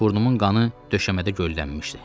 Burnumun qanı döşəmədə göllənmişdi.